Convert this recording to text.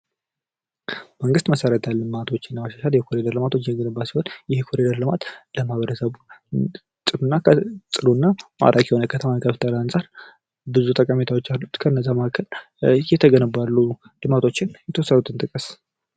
መንግስት መሰረተ ልማቶችን ለመሻሻል የኮሪደር ልማት እየገነባ ሲሆን ይህ የኮሪደር ልማት ለማህበረሰቡ ጥሩና ማራኪ ከተማን ከመፍጠር አንጻር ብዙ ጠቀሜታዎች አሉት። ከነዛ መካከል እየተገነቡ ያለው ልማቶችን የተወሰኑትን ጥቀስ?